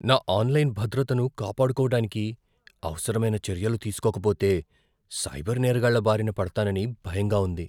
నా ఆన్లైన్ భద్రతను కాపాడుకోవడానికి అవసరమైన చర్యలు తీసుకోకపోతే, సైబర్ నేరగాళ్ల బారిన పడతానని భయంగా ఉంది.